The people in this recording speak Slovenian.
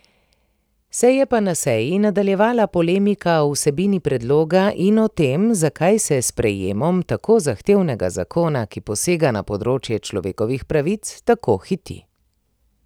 Se je pa na seji nadaljevala polemika o vsebini predloga in o tem, zakaj se s sprejemom tako zahtevnega zakona, ki posega na področje človekovih pravic, tako hiti.